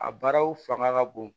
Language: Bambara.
A baaraw fanga ka bon